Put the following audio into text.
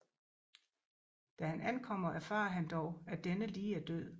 Da han ankommer erfarer han dog at denne lige er død